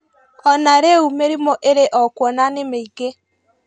O na rĩu mĩrimũ ĩrĩ o kuo na nĩ mĩingĩ